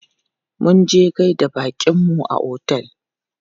Munje gaida baƙinmu a otel.